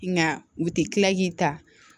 Nka u tɛ tila k'i ta